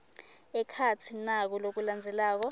ekhatsi naku lokulandzelako